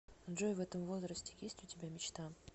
джой в этом возрасте есть у тебя мечта